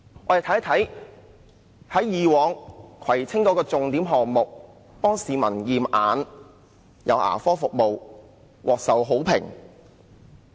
我們看一看葵青區以往的重點項目：為市民提供驗眼及牙科服務，都獲受好評。